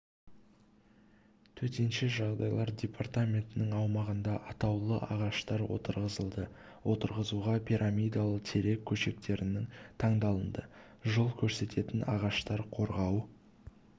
төтенше жағдайлар департаментінің аумағында атаулы ағаштар отырғызылды отырғызуға пирамидалы терек көшекттері таңдалынды жол көрсететін ағаштар қорғау